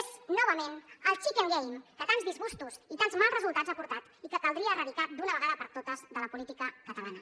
és novament el chicken game que tants disgustos i tants mals resultats ha portat i que caldria erradicar d’una vegada per totes de la política catalana